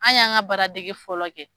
An y'an ka baara degi fɔlɔ kɛ.